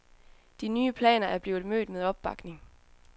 De nye planer er blevet mødt med opbakning.